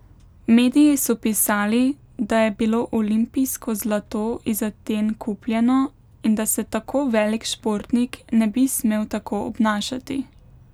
Mediji so pisali, da je bilo olimpijsko zlato iz Aten kupljeno in da se tako velik športnik ne bi smel tako obnašati.